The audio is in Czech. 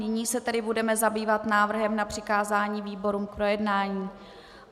Nyní se tedy budeme zabývat návrhem na přikázání výborům k projednání.